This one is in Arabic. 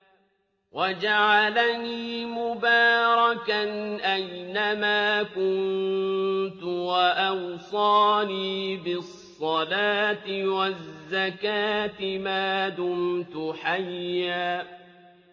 وَجَعَلَنِي مُبَارَكًا أَيْنَ مَا كُنتُ وَأَوْصَانِي بِالصَّلَاةِ وَالزَّكَاةِ مَا دُمْتُ حَيًّا